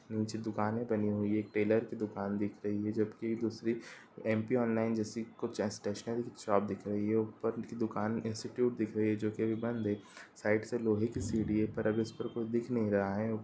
नीचे दुकाने बनी हुई है| एक ट्रेलर की दुकान दिख रही है जबकि दूसरी एम_पी ऑनलाइन जैसी कुछ शॉप दिख रही है| ऊपर की दुकान इंस्टीट्यूट दिख रही है जो कि अभी बंद है| साइड से लोहे की सीड़ी है पर इस पर अभी कोई दिख नहीं रहा है।